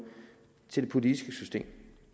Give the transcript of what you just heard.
til det politiske system